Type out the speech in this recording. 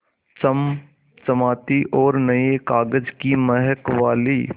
चमचमाती और नये कागज़ की महक वाली